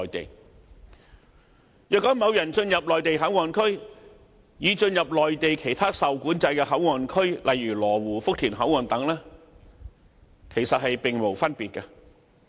進入西九龍站的內地口岸區，與進入內地其他受管制的口岸區，例如羅湖福田口岸等，其實並無分別。